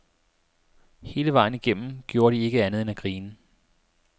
Hele vejen igennem gjorde de ikke andet end at grine.